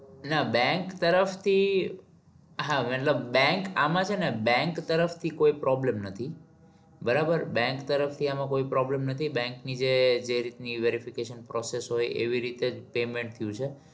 ના bank તરફ થી હા મતલબ bank આમાં છે ને bank તરફ થી કોઈ problem નથી બરાબર bank તરફ થી આમાં કોઈ problem નથી bank ની જે રીત ની verification process હોય એવી રીતે જ payment થયું છે.